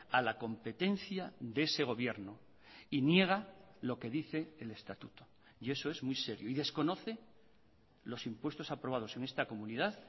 a la competencia de ese gobierno y niega lo que dice el estatuto y eso es muy serio y desconoce los impuestos aprobados en esta comunidad